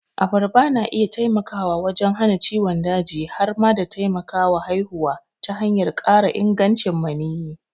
Abarba na iya taimakawa wajen hana ciwon daji har ma da taimakawa haihuwa ta hanyar ƙara ingancin maniyyi.